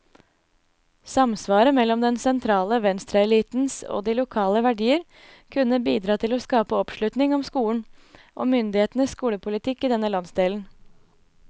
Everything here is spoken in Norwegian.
Samsvaret mellom den sentrale venstreelitens og de lokale verdier kunne bidra til å skape oppslutning om skolen, og myndighetenes skolepolitikk i denne landsdelen.